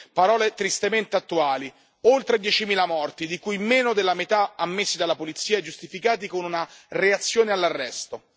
Parole tristemente attuali oltre diecimila morti, di cui meno della metà ammessi dalla polizia e giustificati con una reazione all'arresto.